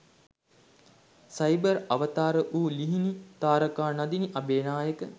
cyber අවතාර වූ ලිහිනි තාරකා නදිනි අබේනායක